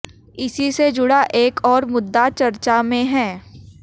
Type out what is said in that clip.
इसी से जुड़ा एक और मुद्दा चर्चा में है